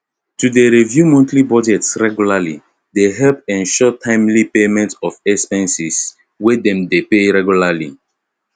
to dey review monthly budgets regularly dey help ensure timely payment of expenses wey them dey pay regularly